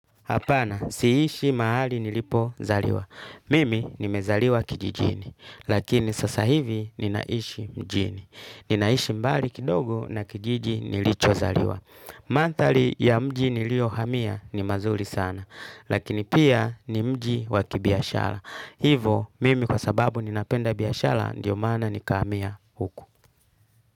Apana, siishi mahali nilipo zaliwa. Mimi nimezaliwa kijijini, lakini sasa hivi ninaishi mjini. Ninaishi mbali kidogo na kijiji nilicho zaliwa. Mandhari ya mji nilio hamia ni mazuri sana, lakini pia ni mji wakibiashara. Hivo, mimi kwa sababu ninapenda biashara, ndiyo maana nikahamia huku.